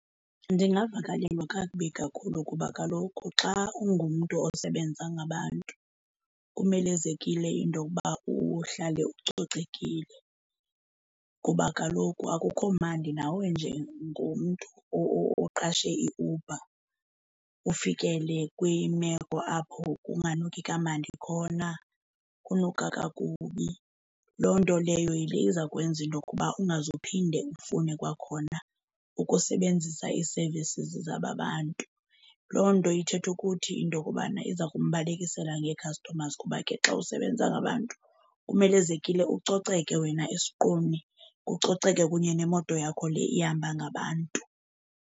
Ndingavakalelwa kakubi kakhulu kuba kaloku xa ungumntu osebenza ngabantu kumelezekile into yokuba uhlale ucocekile, kuba kaloku akukho mandi nawe njengomntu oqashe iUber ufikele kwimeko apho kunganuki kamandi khona, kunuka kakubi. Loo nto leyo yile izakwenza into okuba ungaze uphinde ufune kwakhona ukusebenzisa ii-services zaba bantu. Loo nto ithetha ukuthi into yokobana iza kumbalekisela ngee-customers kuba ke xa usebenza ngabantu kumelezekile ucocekile wena esiqwini kucoceke kunye nemoto yakho le ihamba ngabantu.